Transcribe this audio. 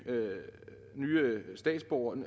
have nye statsborgere i